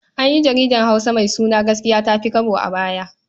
An yi jaridar Hausa mai suna Gaskiya ta fi Kwabo a baya.